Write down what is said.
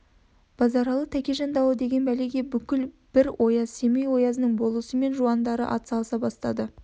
базаралы тәкежан дауы дегең бәлеге бүкіл бір ояз семей оязының болысы мен жуандары ат салыса бастады